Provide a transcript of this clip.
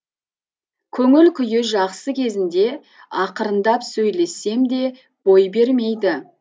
көңіл күйі жақсы кезінде ақырындап сөйлессем де бой бермейді